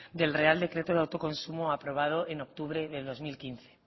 del real decreto de autoconsumo aprobado en octubre de dos mil quince